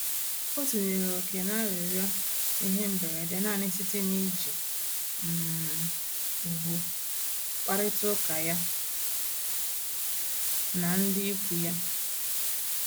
O tinyere ókè na-arịrịọ ihe mberede nanị site na iji um ùgwù kparịta uka ya na ndị ịkwụ ya